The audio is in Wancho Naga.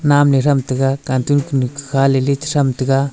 nanley tham taga cartoon kunu kukhale ley cha tham tega.